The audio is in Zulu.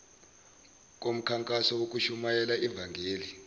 komkhankaso wokushumayela ivangeli